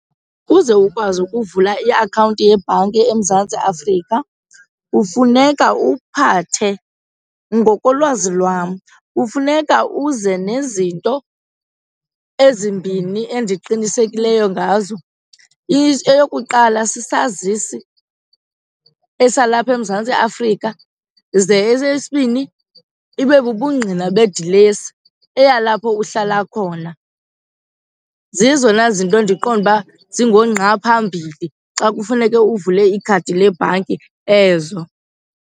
Ukuze ukwazi ukuvula iakhawunti yebhanki eMzantsi Afrika kufuneka uphathe, ngokolwazi lwam, kufuneka uze nezinto ezimbini endiqinisekileyo ngazo. Eyokuqala sisazisi esalapha eMzantsi Afrika ze esesibini ibe bubungqina bedilesi eyalapho uhlala khona. Zezona zinto ndiqonde uba singoongqaphambili xa kufuneke uvule ikhadi lebhanki ezo.